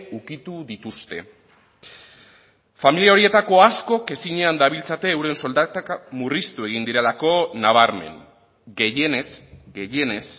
ukitu dituzte familia horietako askok ezinean dabiltzate euren soldatak murriztu egin direlako nabarmen gehienez gehienez